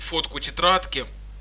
фотку тетрадки